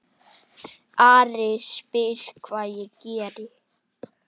Ari spyr hvað ég geri.